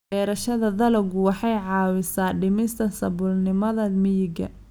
Beerashada dalaggu waxay caawisaa dhimista saboolnimada miyiga.